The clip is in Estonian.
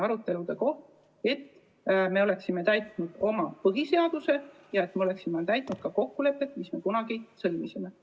et järgiksime oma põhiseadust ja täidaksime ka kokkuleppe, mille me kunagi sõlmisime.